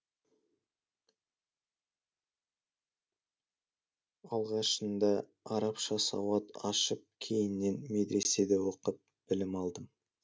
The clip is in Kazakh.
алғашында арабша сауат ашып кейіннен медреседе оқып білім алдым